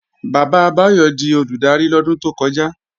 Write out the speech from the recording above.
Bàbá Báyọ̀ di Olùdarí lọ́dún tó kọjá